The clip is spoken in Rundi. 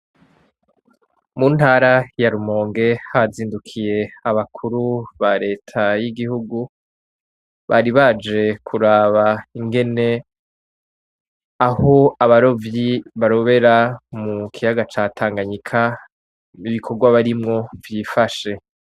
Mu ntara ya Rumonge, hazindukiye abakuru ba leta y' igihugu, bari baje kuraba ingene, aho abarovyi barobera mu kiyaga ca Tanganyika, ibikorwa barimwo vyifashe .